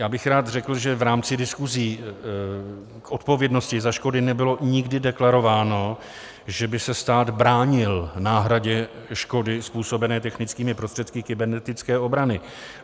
Já bych rád řekl, že v rámci diskusí k odpovědnosti za škody nebylo nikdy deklarováno, že by se stát bránil náhradě škody způsobené technickými prostředky kybernetické obrany.